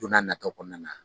Don n'a nataw kɔnɔna na.